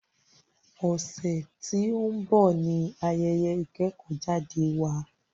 Ọ̀sẹ̀ tí o ń bọ̀ ní ayẹyẹ ìkẹ́kọ̀jáde wa.